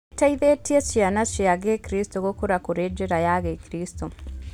Gĩteithĩtie ciana cia gĩkristo gũkũra kũrĩ njĩra ya gĩkristo.